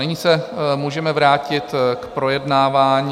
Nyní se můžeme vrátit k projednávání